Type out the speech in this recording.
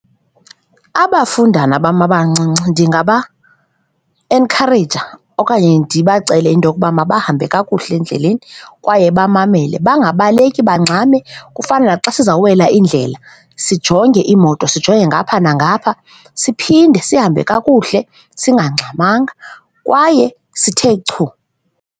Abafundana bam abancinci ndingaba enkhareyija okanye ndibacele into okuba mabahambe kakuhle endleleni kwaye bamamele, bangabaleki bangxame, kufana naxa sizawuwela indlela, sijonge iimoto, sijonge ngapha nangapha siphinde sihambe kakuhle singaxhamanga kwaye sithe chu.